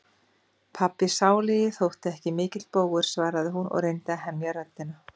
Pabbi sálugi þótti ekki mikill bógur, svaraði hún og reyndi að hemja röddina.